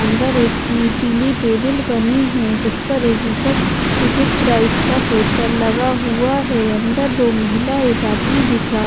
अंदर एक नी पीली टेबल बनी है जिस पर एक ऊपर टिकेट प्राइस का पोस्टर लगा हुआ है अंदर दो महिला एक आदमी दिख रहा--